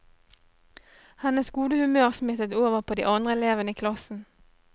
Hennes gode humør smittet over på de andre elevene i klassen.